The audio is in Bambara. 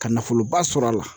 Ka nafoloba sɔrɔ a la